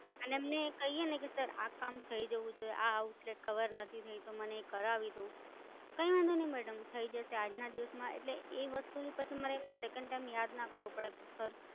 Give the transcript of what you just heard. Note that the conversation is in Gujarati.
અને એમને કહીએને કે સર આ કામ થઇ જવું જોઈએ, આ Outlet કવર નથી થયું તો મને એ કરાવી દો. કઈ વાંધો નહિ મેડમ થઇ જશે આજના દિવસમાં, એટલે એ વસ્તુની પછી મારે એમને Second time યાદ ના કરાવું પડે કે સર